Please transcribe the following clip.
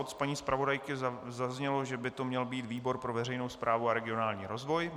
Od paní zpravodajky zaznělo, že by to měl být výbor pro veřejnou správu a regionální rozvoj.